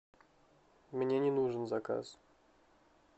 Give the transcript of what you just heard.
мне не нужен заказ